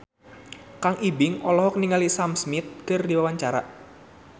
Kang Ibing olohok ningali Sam Smith keur diwawancara